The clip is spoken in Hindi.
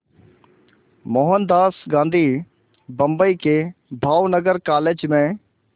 मोहनदास गांधी बम्बई के भावनगर कॉलेज में